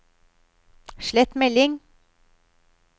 slett melding